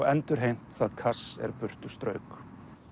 endurheimt það cash er burtu strauk